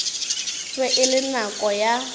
be e le nako ya